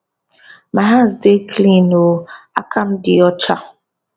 my hands dey clean oooooooooooo akam di ocha